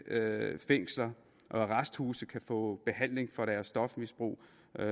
fængsler og arresthuse kan få behandling for deres stofmisbrug